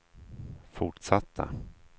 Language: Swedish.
fortsatta